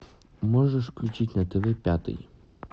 можешь включить на тв пятый